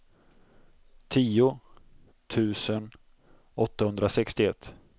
tio tusen åttahundrasextioett